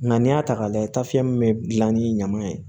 Nka n'i y'a ta k'a lajɛ min bɛ dilan ni ɲaman ye